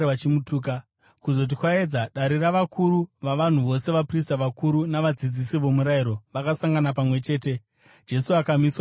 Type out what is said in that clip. Kuzoti kwaedza, dare ravakuru vavanhu, vose vaprista vakuru navadzidzisi vomurayiro, vakasangana pamwe chete, Jesu akamiswa pamberi pavo.